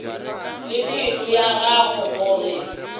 le pelo ya gagwe gore